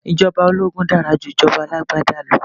Ìjọba ológun dára ju ìjọba alágbádá lọ